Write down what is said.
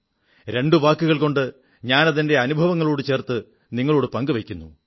രണ്ടു വാക്കുകൾകൊണ്ട് ഞാനത് എന്റെ അനുഭവത്തോടു ചേർത്ത് നിങ്ങളോടു പങ്കുവയ്ക്കുന്നു